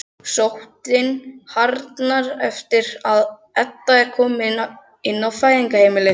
Sóttin harðnar eftir að Edda er komin inn á Fæðingarheimilið.